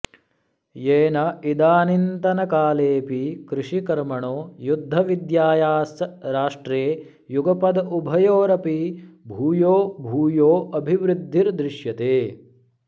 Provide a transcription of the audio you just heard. येन इदानीन्तनकालेऽपि कृषिकर्मणो युद्धविद्यायाश्च राष्ट्रे युगपदुभयोरपि भूयो भूयोऽभिवृद्धि र्दृश्यते